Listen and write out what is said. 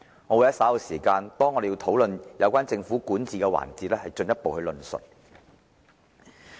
我會在稍後討論有關政府管治的環節時進一步論述。